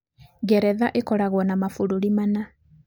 Ngeretha ĩkoragwo na mabũrũri mana.